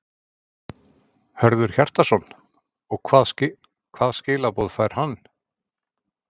Hjörtur Hjartarson: Og hvað skilaboð fær hann?